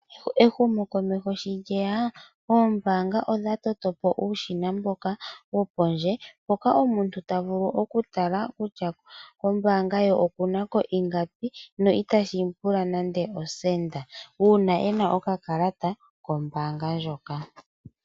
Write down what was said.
Ehumokomeho sho lye ya oombaanga odha toto po uushina mboka wopondje mpoka omuntu ta vulu okutala kutya kombaanga ye oku na ko ingapi no itashi mu pula nande osenda, uuna e na okakalata kombaanga ndjoka.